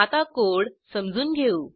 आता कोड समजून घेऊ